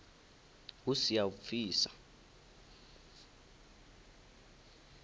hu si ya u pfisa